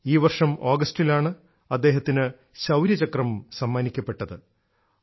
ഈ വർഷം ആഗസ്റ്റിലാണ് അദ്ദേഹത്തിനു ശൌര്യചക്രം സമ്മാനിക്കപ്പെട്ടത്